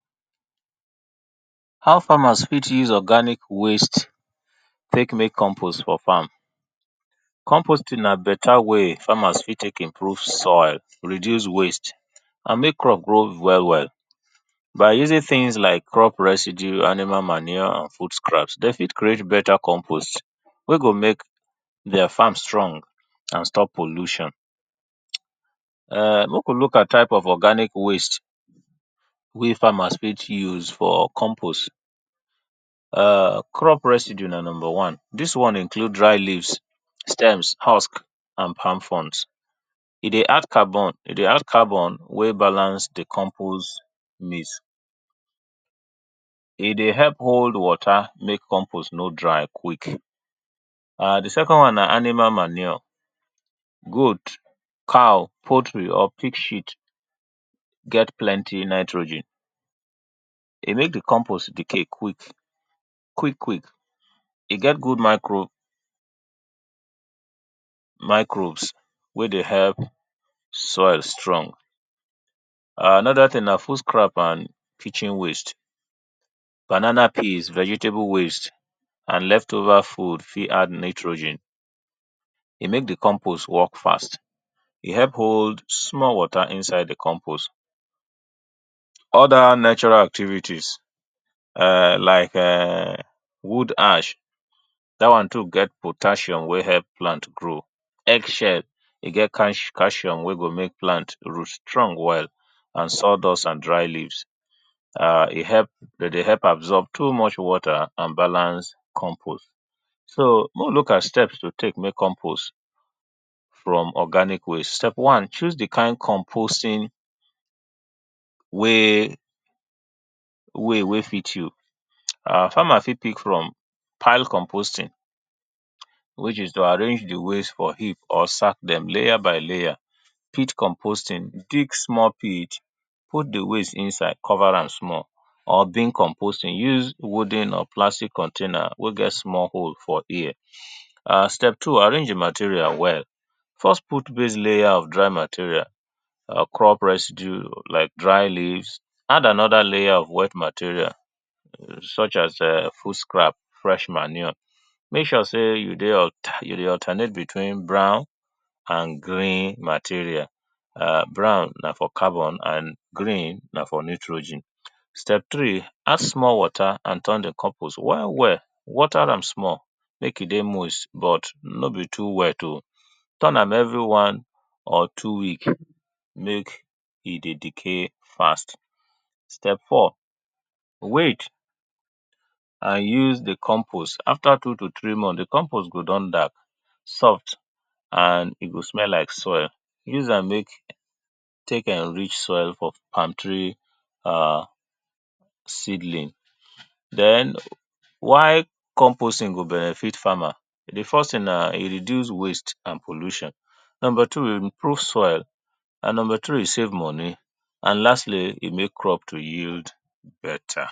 How farmers fit use organic waste take make compost for farm. Compost ing na better way wen farmers fit take improve soil, reduce waste and make crop grow well well, by using things like crop residue, animal manure and food crumbs dem fit create better compost wey go make their farm strong and stop pollution. Make we look at type of organic waste wey farmers fit use for compost. Crop residue na number one, dis one includes dry leaves, stem, husk and palm fronds, e dey add carbon, e dey add carbon wey balance di compost mix, e dey help hold water make compost no dry quick. Di second one na animal manure, goat, cow, poultry or pig shit, get plenty nitrogen, e make di compost decay quick quick, e get good mirco, microbes wey dey help soil strong. Another thing na food scrap and kitchen waste, banana peel, kitchen waste and left over food fit add nitrogen, e make di compost work fast, e help hold small water inside di compost, all dat activities like wood ash, dat one too get potassium wey help plant grow. Egg shell e get potassium wey make pant strong well and sawdust and dry leaves, e help dem dey help absorb too much water and balance compost so make we look at steps to take to make compost from organic waste, step one choose di kind compost ing way wey fit you, farmer fit pick from pile compost ing which is to arrange di waste for heap or sand dem layer by layer, pit compost ing, dig small pit put di waste inside cover am, or big compost ing use wooden or plastic container wey get hole for ear, step two arrange di material well, first put base layer of dry material, crop residue like dry leaves, add another layer of dry material such as food layer, fresh manure make sure sey you dey alternate between brown and green material, brown na for carbon and green na for nitrogen. Step three add small water and turn di compost well well, water am small make dey moist but no be too wet oh, turn am every one or two week make e dey decay fast. Step four wait and use di compost after two to three month di compost go don damp, soft and e go smell like soil, use am make take enrich soil for palm tree seedling. Den why compost ing go benefit farmer? Di first thing na e reduce waste and pollution number two e improve soil, and number three e save money and lastly e make crop to yield better.